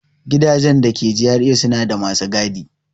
Gidajen da ke GRA suna da masu gadi.